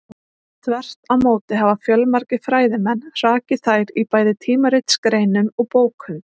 Þvert á móti hafa fjölmargir fræðimenn hrakið þær í bæði tímaritsgreinum og bókum.